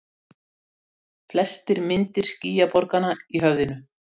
Festir myndir skýjaborganna í höfðinu.